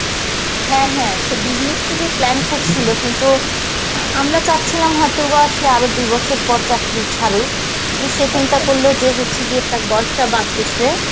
হ্যাঁ হ্যাঁ, সে business করবে plan করসিল কিন্তু অ্যাঁ আমরা চাচ্ছিলাম হয়তো বা সে আরো দুই বছর পর চাকরিটা ছাড়ুক, কিন্তু সে চিন্তা করলো যে ইচ্ছে গিয়ে বয়সটা বাড়তেসে`